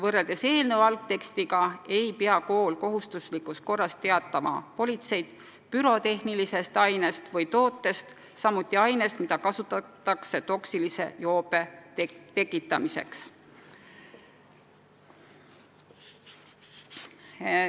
Võrreldes eelnõu algtekstiga ei pea kool kohustuslikus korras teavitama politseid pürotehnilisest ainest või tootest, samuti ainest, mida kasutatakse toksilise joobe tekitamiseks.